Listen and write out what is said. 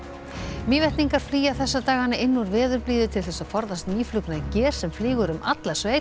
Mývetningar flýja þessa dagana inn úr veðurblíðu til þess að forðast sem flýgur um alla sveit